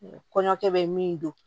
Kɔɲɔkɛ bɛ min don